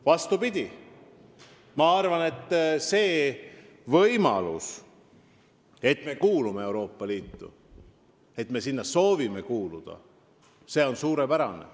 Vastupidi, ma arvan, et see, et me kuulume Euroopa Liitu, et me soovime sinna kuuluda, on suurepärane.